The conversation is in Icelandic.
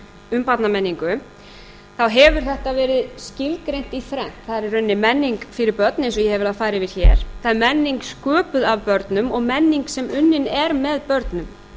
um barnamenningu þá hefur þetta verið skilgreint í þrennt það er í rauninni menning fyrir börn eins og ég hef verið að fara yfir hér það er menning sköpuð af börnum og menning sem unnin er með börnum